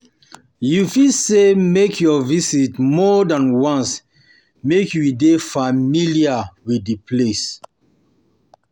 You fit say make your visit more than once make you de familiar de familiar with di place